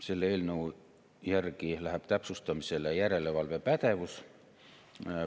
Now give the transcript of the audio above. Selle eelnõu järgi läheb täpsustamisele järelevalvepädevus.